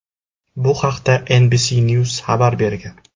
Bu haqda NBC News xabar bergan .